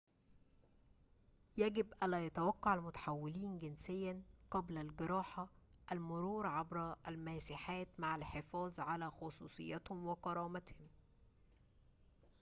يجب ألا يتوقع المتحولين جنسياً قبل الجراحة المرور عبر الماسحات مع الحفاظ على خصوصيتهم و كرامتهم